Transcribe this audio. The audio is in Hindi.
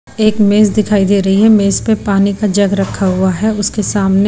एक मेज दिखाई दे रही है मेज पे पानी का जग रखा हुआ है उसके सामने--